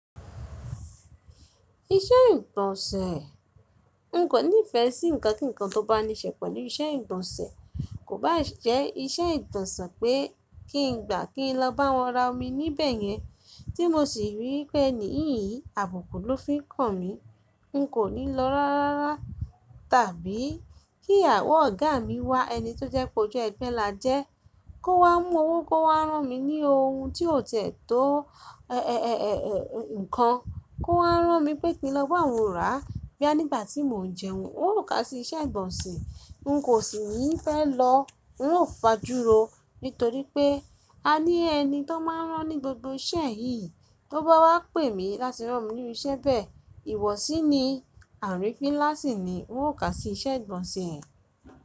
Iṣẹ́ ìgbọ̀nsẹ̀, n kò nífẹ́ sí nkankan tó bá níṣe pẹ̀lú iṣẹ́ ìgbọ̀nsẹ̀, kò bá jẹ́ iṣẹ́ ìgbọ̀nsẹ̀ pé kí n gbà kí n lọ bá wọn ra omi níbẹ̀ yẹn tí mo sì rí pé èyí àbùkù ló fi ń kàn mí, n kò ní lọ rárá. Tàbí kí àwọ̀ ọ̀gá mi wá ẹni tó jẹ́ pé ojú ẹgbẹ́ là jẹ́, kó wá mú owó kó wá rán mi ní ohun tí ó tẹ̀ tó ẹ̀, ẹ̀, ẹ̀, ẹ̀, ẹ̀, ǹkan, kó wá rán mi pé kí n lọ bá wọn rà. Bí ànígbà tí mò ń jẹun, n ò ka sí iṣẹ́ ìgbọ̀nsẹ̀, n kò sì níí fẹ́ lọ, n ò fà júro, nítorí pé a ní ẹni tó máa ń rán ní gbogbo ṣẹ́ẹ̀yì, tó bá wá pè mí láti rán mi ní irú iṣẹ́ bẹ́ẹ̀, ìwọ̀sí ni, àrífín nlá sí ni, n ò ka sí iṣẹ́ ìgbọ̀nsẹ̀.